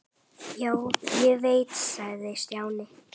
Já, ég veit sagði Stjáni.